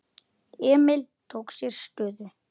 Emil tók sér stöðu.